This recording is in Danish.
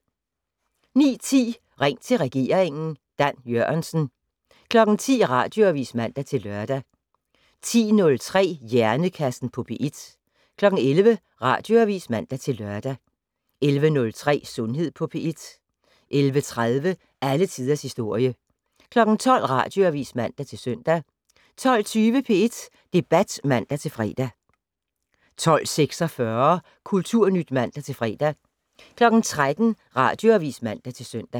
09:10: Ring til regeringen: Dan Jørgensen 10:00: Radioavis (man-lør) 10:03: Hjernekassen på P1 11:00: Radioavis (man-lør) 11:03: Sundhed på P1 11:30: Alle tiders historie 12:00: Radioavis (man-søn) 12:20: P1 Debat (man-fre) 12:46: Kulturnyt (man-fre) 13:00: Radioavis (man-søn)